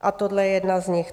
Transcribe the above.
A tohle je jedna z nich.